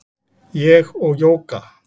Ég og Jóga